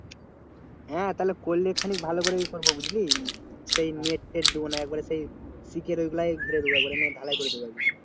হ্যাঁ তাহলে করলে খালি ভালো করেই করবো বুঝলি সে net ফেট দিবোনা একবারে সেই শিখের ওইগুলা ঘিরে দেবো net ঢালাই করে দেবো।